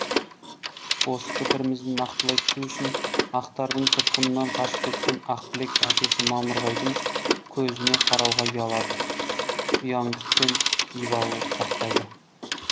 осы пікірімізді нақтылай түсу үшін ақтардың тұтқынынан қашып кеткен ақбілек әкесі мамырбайдың көзіне қарауға ұялады ұяңдық пен ибалылық сақтайды